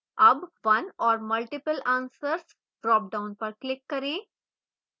अब one or multiple answers dropdown पर click करें